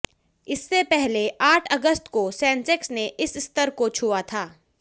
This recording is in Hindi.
इससे पहले आठ अगस्त को सेंसेक्स ने इस स्तर को छुआ था